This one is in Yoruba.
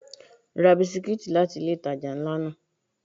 Ra bisikítì láti ilé ìtajà ńlá náà.